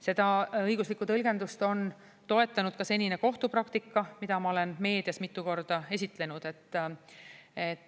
Seda õiguslikku tõlgendust on toetanud ka senine kohtupraktika, mida ma olen meedias mitu korda esitlenud.